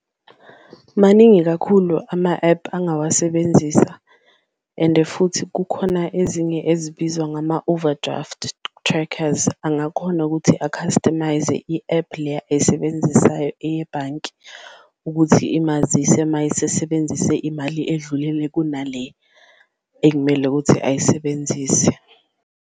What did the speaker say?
Maningi kakhulu ama-app angawasebenzisa ende futhi kukhona ezinye ezibizwa ngama-overdraft trackers, angakhona ukuthi a-customise-ze i-app leya esebenzisayo eyebhanki ukuthi imazise mayesesebenzise imali edlulele kunale ekumele ukuthi ayisebenzise.